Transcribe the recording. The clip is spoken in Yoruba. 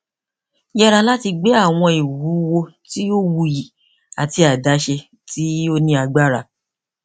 yẹra lati gbe awọn iwuwo ti o wuyi ati adaṣe ti o ni agbara